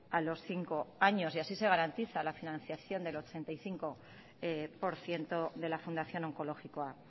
a los cinco años y así se garantiza la financiación del ochenta y cinco por ciento de la fundación onkologikoa